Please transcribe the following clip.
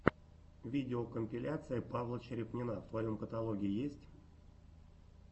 видеокомпиляция павла черепнина в твоем каталоге есть